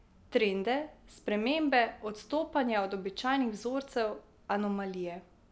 Trende, spremembe, odstopanja od običajnih vzorcev, anomalije.